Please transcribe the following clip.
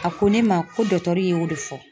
A ko ne ma, ko y'o de fɔ.